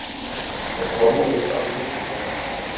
Hún kom út aftur hin ánægðasta.